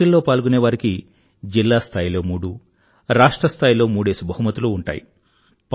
ఈ పోటీల్లో పాల్గొనేవారికి జిల్లా స్థాయిలో మూడు రాష్ట్ర స్థాయిలో కూడా మూడు బహుమతులు ఉంటాయి